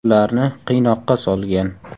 Ularni qiynoqqa solgan.